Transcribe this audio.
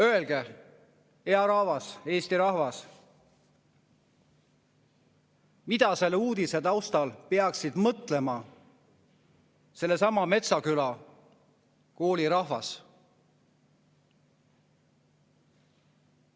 " Öelge, hea Eesti rahvas, mida selle uudise taustal peaks mõtlema sellesama Metsküla kooli rahvas.